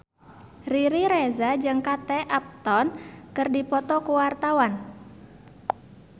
Riri Reza jeung Kate Upton keur dipoto ku wartawan